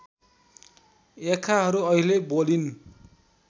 याक्खाहरू अहिले बोलिन